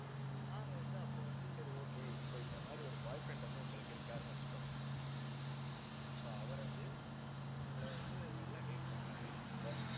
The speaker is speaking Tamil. நாங்க வந்து அப்ப வந்து சரி okay இப்ப இந்த மாதிரி ஒரு boyfriend வந்து, உங்களுக்கு இருக்காருன்னு வச்சுக்கோங்க. so அவரு வந்து உங்களை வந்து நல்லா date பண்றாரு but